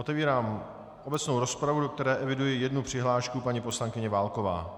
Otevírám obecnou rozpravu, do které eviduji jednu přihlášku paní poslankyně Válkové.